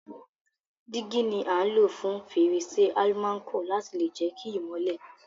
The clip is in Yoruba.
Dígí ni a n lo fún fèrèsé almanco láti lè jẹ ki ìmọ́lẹ̀